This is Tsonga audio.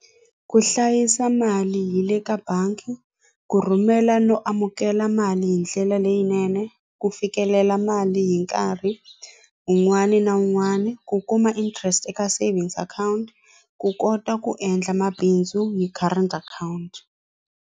Ku hlayisa mali hi le ka bangi ku rhumela no amukela mali hi ndlela leyinene ku fikelela mali hi nkarhi un'wani na un'wani ku kuma interest eka savings account ku kota ku endla mabindzu hi current akhawunti.